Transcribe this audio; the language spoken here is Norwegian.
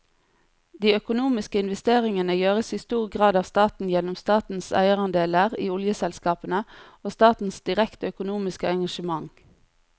De økonomiske investeringene gjøres i stor grad av staten gjennom statens eierandeler i oljeselskapene og statens direkte økonomiske engasjement.